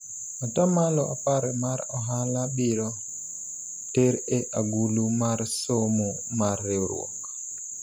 atamalo apar mar ohala ibiro ter e agulu mar somo mar riwruok